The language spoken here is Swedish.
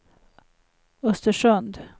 Östersund